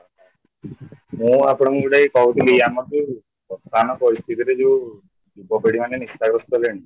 ମୁଁ ଆପଣଙ୍କୁ ଯୋଉଟାକି କହୁଥିଲି ,ଆମର ଯୋଉ ଦୋକାନ ପରିସ୍ଥିତିରେ ଯୋଉ ଯୁବ ପିଢ଼ି ମାନେ ନିଶା ଗ୍ରସ୍ତ କଲେଣି